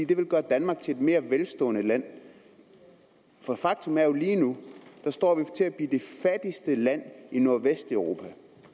det vil gøre danmark til et mere velstående land faktum er jo at vi lige nu står til at blive det fattigste land i nordvesteuropa